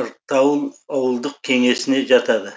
артаул ауылдық кеңесіне жатады